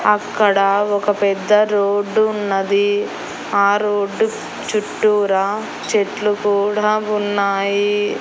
అక్కడ ఒక పెద్ద రోడ్డు ఉన్నది ఆ రోడ్డు చుట్టూరా చెట్లు కూడా ఉన్నాయి.